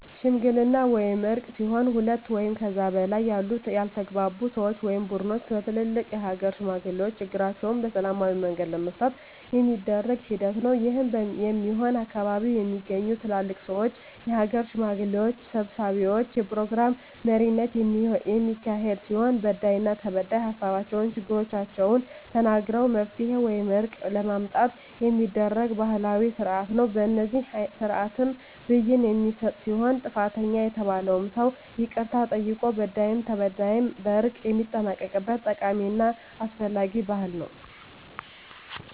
ሽምግልና ወይም እርቅ ሲሆን ሁለት ወይም ከዚያ በላይ ያሉ ያልተግባቡ ሰወች ወይም ቡድኖች በትልልቅ የሀገር ሽማግሌዎች ችግራቸዉን በሰላማዊ መንገድ ለመፍታት የሚደረግ ሂደት ነዉ። ይህም የሚሆን ከአካባቢዉ በሚገኙ ትልልቅ ሰወች(የሀገር ሽማግሌዎች) ሰብሳቢነት(የፕሮግራም መሪነት) የሚካሄድ ሲሆን በዳይና ተበዳይ ሀሳባቸዉን(ችግሮቻቸዉን) ተናግረዉ መፍትሄ ወይም እርቅ ለማምጣት የሚደረግ ባህላዊ ስርአት ነዉ። በዚህ ስርአትም ብይን የሚሰጥ ሲሆን ጥፋተኛ የተባለዉም ሰዉ ይቅርታ ጠይቆ በዳይም ተበዳይም በእርቅ የሚጠናቀቅበት ጠቃሚና አስፈላጊ ባህል ነዉ።